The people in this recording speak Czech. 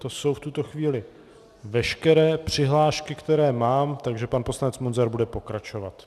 To jsou v tuto chvíli veškeré přihlášky, které mám, takže pan poslanec Munzar bude pokračovat.